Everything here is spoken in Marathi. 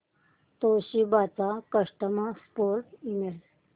तोशिबा चा कस्टमर सपोर्ट ईमेल